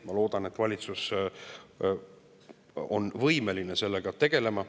Ma loodan, et valitsus on võimeline sellega tegelema.